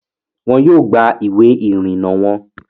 Wọn yóò gba ìwé ìrìnnà wọon